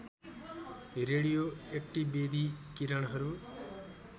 radio ऐक्टिवेधी किरणहरू